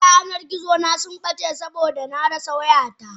Duka yanar gizona subbace saboda marasa wayata.